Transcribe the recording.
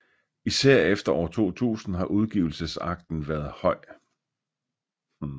Især efter år 2000 har udgivelsestakten været høj